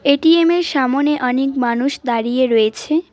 ATM -এর সামোনে অনেক মানুষ দাঁড়িয়ে রয়েছে।